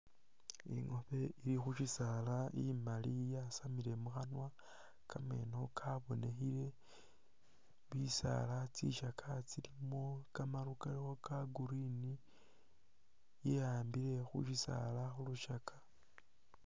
Ingoobe ili khu syisaala imali yasamile mu khanwa kameeno kabonekhile, bisaala tsisakya tsilimo kamaru kali ka Green, ya'ambile khu syisaala khu lusakya.